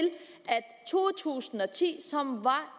to tusind og ti som var